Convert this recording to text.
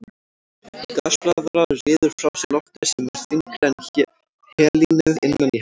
Gasblaðra ryður frá sér lofti sem er þyngra en helínið innan í henni.